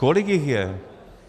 Kolik jich je?